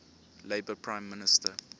labour prime minister